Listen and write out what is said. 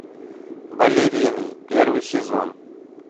балерины первый сезон